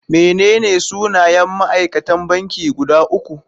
Menene sunayen ma'aikatan banki guda uku?